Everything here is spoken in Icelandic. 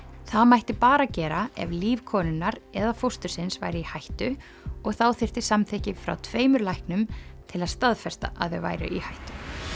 það mætti bara gera ef líf konunnar eða fóstursins væri í hættu og þá þyrfti samþykki frá tveimur læknum til að staðfesta að þau væru í hættu